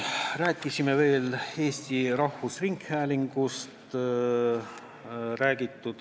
Rääkisime veel Eesti Rahvusringhäälingust.